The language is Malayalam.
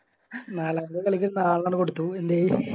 നാലാമത്തെ കളിക്ക് നാലെണ്ണങ്ങട് കൊടുത്തു ന്തേ